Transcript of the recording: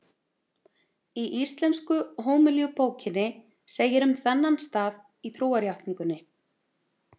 Í Íslensku hómilíubókinni segir um þennan stað í trúarjátningunni: